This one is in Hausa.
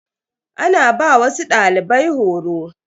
Ana ba wasu dalibai horo.